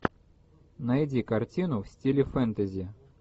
найди картину в стиле фэнтези